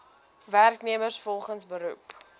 werknemers volgens beroep